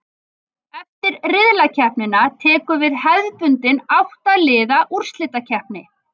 Eftir riðlakeppnina tekur við hefðbundin átta liða úrslitakeppni.